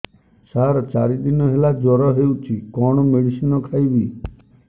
ସାର ଚାରି ଦିନ ହେଲା ଜ୍ଵର ହେଇଚି କଣ ମେଡିସିନ ଖାଇବି